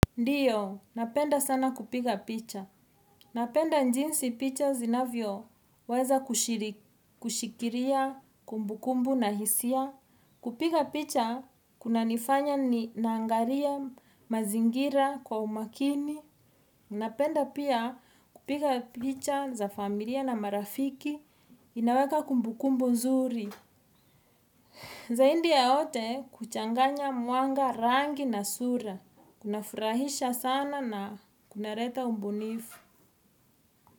Ndiyo, napenda sana kupiga picha. Napenda jinsi picha zinavyoweza kushikiria kumbukumbu na hisia. Kupiga picha kunanifanya naangalia mazingira kwa umakini. Napenda pia kupiga picha za familia na marafiki inaweka kumbukumbu nzuri. Zaidi ya wote kuchanganya mwanga rangi na sura, kunafurahisha sana na kunaleta ubunifu.